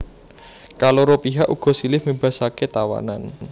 Kaloro pihak uga silih mbébasaké tawanan